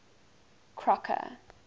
crocker